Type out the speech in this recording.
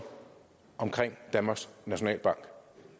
om danmarks nationalbank